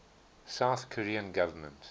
south korean government